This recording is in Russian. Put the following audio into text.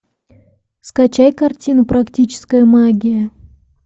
скачай картину практическая магия